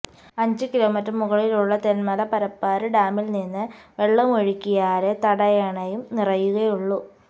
അഞ്ച് കിലോമീറ്റര് മുകളിലുള്ള തെന്മല പരപ്പാര് ഡാമില്നിന്ന് വെള്ളമൊഴുക്കിയാലേ തടയണയും നിറയുകയുള്ളു